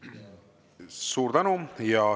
Suur tänu!